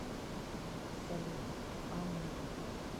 салют а мы